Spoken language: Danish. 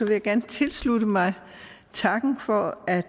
vil gerne tilslutte mig takken for at